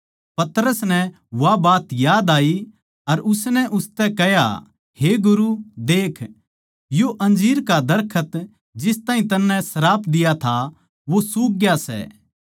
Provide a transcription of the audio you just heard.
पतरस नै वा बात याद आई अर उसनै उसतै कह्या हे गुरु देख यो अंजीर का दरखत जिस ताहीं तन्नै श्राप दिया था वो सूख ग्या सै